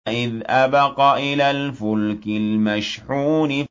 إِذْ أَبَقَ إِلَى الْفُلْكِ الْمَشْحُونِ